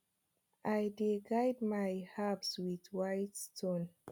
i dey guard my herbs with white stone